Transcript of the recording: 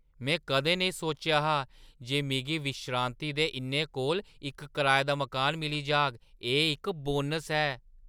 में कदें नेईं सोचेआ हा जे मिगी विश्रांति दे इन्ने कोल इक कराए दा मकान मिली जाग। एह् इक बोनस ऐ!